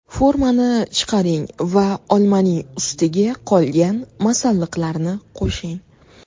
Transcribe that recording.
Formani chiqaring va olmaning ustiga qolgan masalliqlarni qo‘shing.